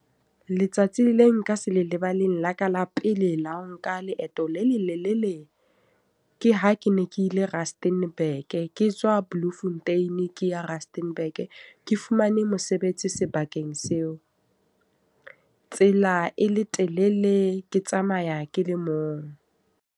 Letsatsi le le nka se le lebaleng la ka la pele la nka leeto le lelelele. Ke ha ke ne ke ile Rusternburg ke tswa Bloemfontein, ke ya Rusternburg. Ke fumane mosebetsi sebakeng seo. Tsela e le telele, ke tsamaya ke le mong.